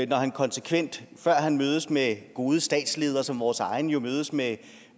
når han konsekvent før han mødes med gode statsledere som vores egen jo mødes med